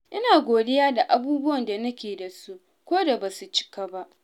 Ina godiya da abubuwan da nake da su, koda ba su cika ba.